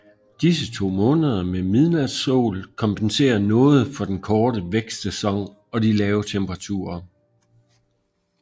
Disse to måneder med midnatssol kompenserer noget for den korte vækstsæson og de lave temperaturer